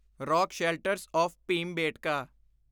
rock shelters of Bhimbetka